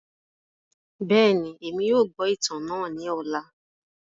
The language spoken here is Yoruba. Bẹẹni, Emi yóò gbọ itan naa ni ọla.